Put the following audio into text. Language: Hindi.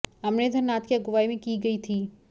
अमरेंद्र नाथ की अगुवाई में की गई थी